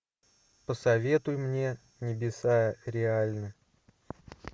посоветуй мне небеса реальны